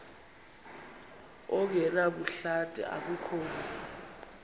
ongenabuhlanti akukho mzi